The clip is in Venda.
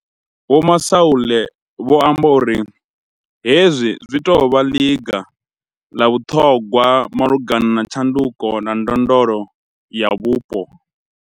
Vho Masualle vho amba uri hezwi zwi tou vha ḽiga ḽa vhuṱhogwa malugana na tshanduko na ndondolo ya vhupo.